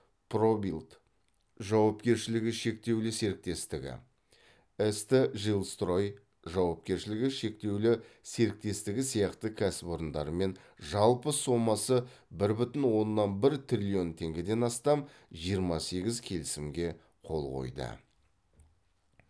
пробилд жауапкершілігі шектеулі серіктестігі ст жилстрой жауапкершілігі шектеулі серіктестігі сияқты кәсіпорындармен жалпы сомасы бір бүтін оннан бір триллион теңгеден астам жиырма сегіз келісімге қол қойды